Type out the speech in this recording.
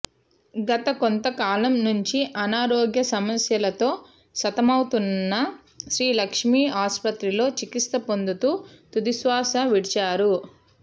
గత కొంతకాలం నుంచి అనారోగ్య సమస్యలతో సతమతమవుతున్న శ్రీ లక్ష్మీ ఆసుపత్రిలో చికిత్స పొందుతూ తుదిశ్వాస విడిచారు